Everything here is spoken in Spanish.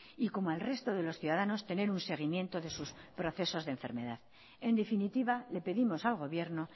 y como al resto de los ciudadanos tener un seguimiento de sus procesos de enfermedad en definitiva le pedimos al gobierno